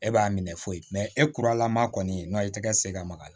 E b'a minɛ foyi mɛn e kuralaman kɔni na i tɛ ka se ka maka